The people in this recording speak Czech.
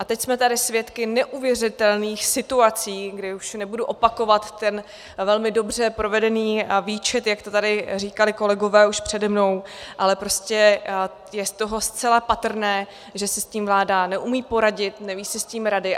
A teď jsme tady svědky neuvěřitelných situací, kdy už nebudu opakovat ten velmi dobře provedený výčet, jak to tady říkali kolegové už přede mnou, ale prostě je z toho zcela patrné, že si s tím vláda neumí poradit, neví si s tím rady.